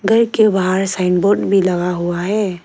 घर के बाहर साइन बोर्ड भी लगा हुआ है।